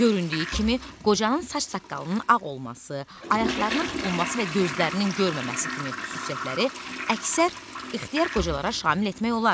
Göründüyü kimi, qocanın saç-saqqalının ağ olması, ayaqlarının tutulması və gözlərinin görməməsi kimi xüsusiyyətləri əksər ixtiyar qocalara şamil etmək olar.